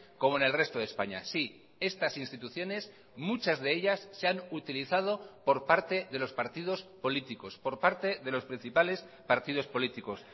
como en el resto de españa sí estas instituciones muchas de ellas se han utilizado por parte de los partidos políticos por parte de los principales partidos políticos